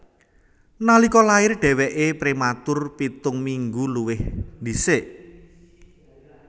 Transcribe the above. Nalika lair dhèwèké prématur pitung minggu luwih dhisik